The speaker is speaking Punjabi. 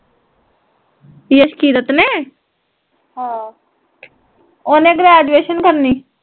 ਜਸਕੀਰਤ ਨੇ ਓਹਨੇ ਗ੍ਰੇਜੁਏਸ਼ਨ ਕਰਣੀ